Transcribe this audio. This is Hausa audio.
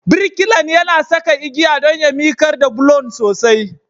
Birkilan yana saka igiya don ya miƙar da bulon sosai.